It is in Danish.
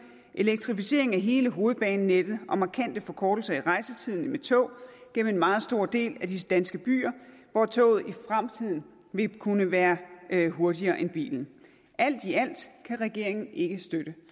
en elektrificering af hele hovedbanenettet og markante forkortelser i rejsetiden med tog gennem en meget stor del af de danske byer hvor toget i fremtiden vil kunne være hurtigere end bilen alt i alt kan regeringen ikke støtte